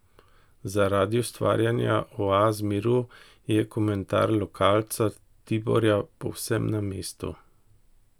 Zaradi ustvarjanja oaz miru, je komentar lokalca Tiborja povsem na mestu.